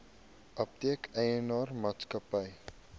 apteek eienaar maatskappy